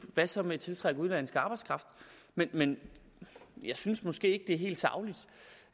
hvad så med at tiltrække udenlandsk arbejdskraft men men jeg synes måske er helt sagligt